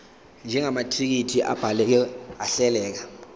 njengamathekisthi abhaleke ahleleka